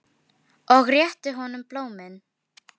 Og þú ert Drífa?